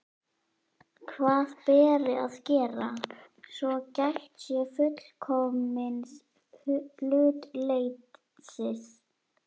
Hvað beri að gera, svo gætt sé fullkomins hlutleysis?